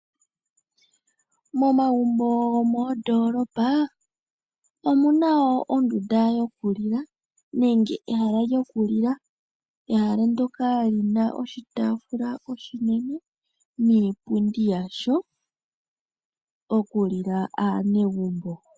Momagumbo gomoodoolopa omuna woo ondunda yoku lila ajo ehala lyoku lila. Ehala ndyoka lina oshitaafula oshinene niipundi yasho okulilwa kaanegumbo.